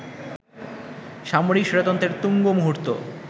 সামরিক স্বৈরতন্ত্রের তুঙ্গ মুহূর্ত